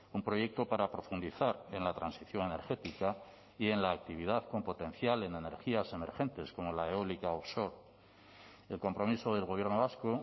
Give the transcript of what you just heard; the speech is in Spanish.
un proyecto para profundizar en la transición energética y en la actividad con potencial en energías emergentes como la eólica o el compromiso del gobierno vasco